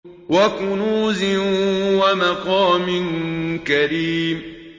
وَكُنُوزٍ وَمَقَامٍ كَرِيمٍ